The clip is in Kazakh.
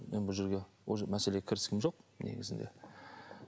мен бұл жерге мәселе кірісім жоқ негізінде